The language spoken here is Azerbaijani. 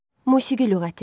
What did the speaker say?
Musiqi lüğəti.